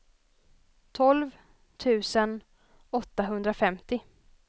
tolv tusen åttahundrafemtio